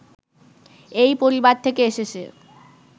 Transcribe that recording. এই পরিবার থেকে এসেছে